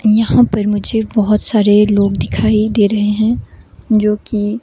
यहां पर मुझे बहोत सारे लोग दिखाई दे रहे हैं जो की--